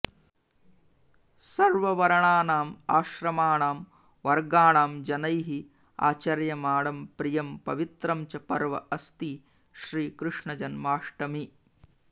सर्ववर्णानाम् आश्रमाणां वर्गाणां जनैः आचर्यमाणं प्रियं पवित्रं च पर्व अस्ति श्रीकृष्णजन्माष्टमी